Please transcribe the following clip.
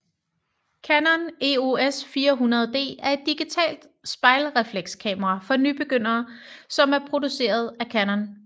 Canon EOS 400D er et digitalt spejlreflekskamera for nybegyndere som er produceret af Canon